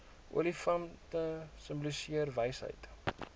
olifante simboliseer wysheid